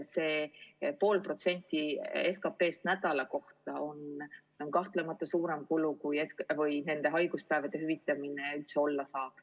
See pool protsenti SKP-st nädala kohta on kahtlemata suurem kulu, kui nende haiguspäevade hüvitamine üldse olla saaks.